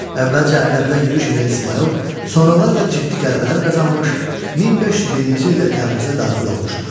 Əvvəlcə Ərdəbilə yürüş edən İsmayıl, sonralar da ciddi qələbələr qazanmış, 1501-ci ildə Təbrizə daxil olmuşdur.